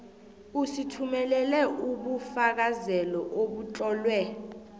usithumelele ubufakazelo obutlolwe